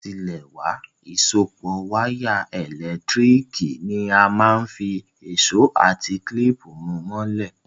Látilẹ̀wá, ìsopọ́ wire ẹ́lẹ̀ntirikì ni a máa n fi ìsó àti clip mú mọ́lẹ̀